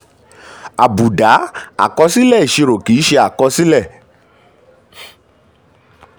àbùdá: àkọsílẹ̀ ìṣirò kì í ṣe àkọsílẹ̀.